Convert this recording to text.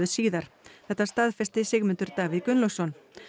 síðar þetta staðfesti Sigmundur Davíð Gunnlaugsson